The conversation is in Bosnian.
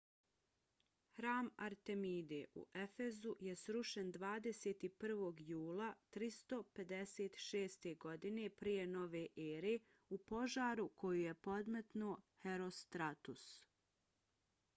hram artemide u efezu je srušen 21. jula 356. godine p.n.e. u požaru koji je podmetnuo herostratus